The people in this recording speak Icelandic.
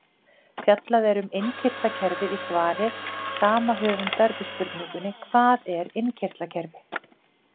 Fjallað er um innkirtlakerfið í svari sama höfundar við spurningunni Hvað er innkirtlakerfi?